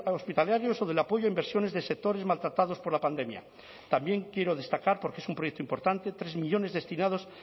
hospitalarios o del apoyo a inversiones de sectores maltratados por la pandemia también quiero destacar porque es un proyecto importante tres millónes destinados